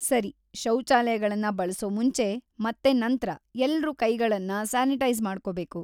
ಸರಿ! ಶೌಚಾಲಯಗಳನ್ನ ಬಳ್ಸೋ ಮುಂಚೆ ಮತ್ತೆ ನಂತ್ರ ಎಲ್ರೂ ಕೈಗಳನ್ನ ಸಾನಿಟೈಜ಼್ ಮಾಡ್ಕೊಬೇಕು.